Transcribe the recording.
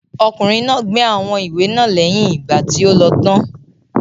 Ọkùnrin náà gbé àwọn ìwé náà lẹ́yìn ìgbà tí o lọ tán.